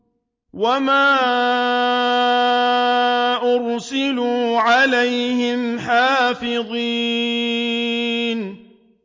وَمَا أُرْسِلُوا عَلَيْهِمْ حَافِظِينَ